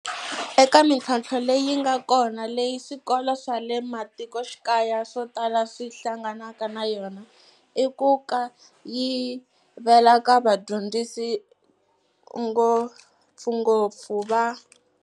Eka mitlhontlho leyi nga kona leyi swikolo swa le matikoxikaya swo tala swi hlanganaka na yona i ku kayivela ka vadyondzisi ngopfungopfu va.